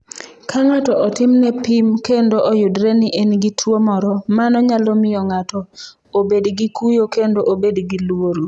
Ka ng’ato otimne pim kendo oyudre ni en gi tuo moro, mano nyalo miyo ng’ato obed gi kuyo kendo obed gi luoro.